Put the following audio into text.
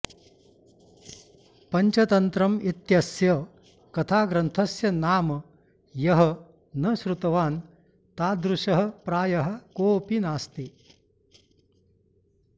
पञ्चतन्त्रम् इत्यस्य कथाग्रन्थस्य नाम यः न श्रुतवान् तादृशः प्रायः कोऽपि नास्ति